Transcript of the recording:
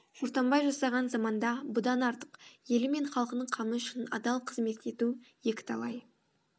шортанбай жасаған заманда бұдан артық елі мен халқының қамы үшін адал қызмет ету акі талай